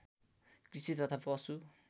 कृषि तथा पशु